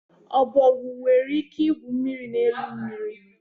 Ọbọgwụ nwere ike igwu mmiri n'elu mmiri.